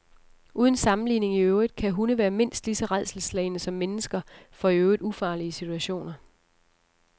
Uden sammenligning i øvrigt kan hunde være mindst lige så rædselsslagne som mennesker for i øvrigt ufarlige situationer.